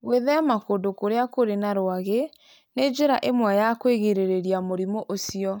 Gwĩthema kũndũ kũrĩa kũrĩ na rwagi nĩ njĩra ĩmwe ya kwĩgirĩrĩria mũrimũ ũcio.